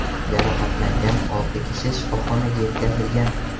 Jarohatlangan olti kishi shifoxonaga yetkazilgan.